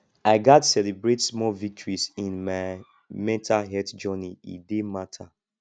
i gats celebrate small victories in my mental health journey e dey matter